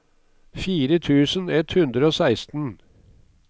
fire tusen ett hundre og seksten